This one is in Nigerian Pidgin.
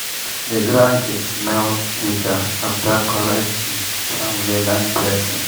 the ground dey smell sweeter after correct um family land blessing.